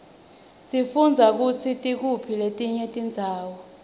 sifundza kutsi tikuphi letinye tindzawo